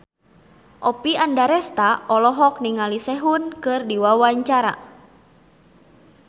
Oppie Andaresta olohok ningali Sehun keur diwawancara